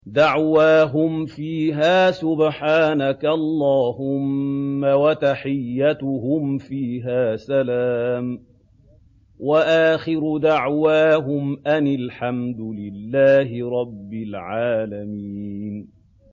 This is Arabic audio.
دَعْوَاهُمْ فِيهَا سُبْحَانَكَ اللَّهُمَّ وَتَحِيَّتُهُمْ فِيهَا سَلَامٌ ۚ وَآخِرُ دَعْوَاهُمْ أَنِ الْحَمْدُ لِلَّهِ رَبِّ الْعَالَمِينَ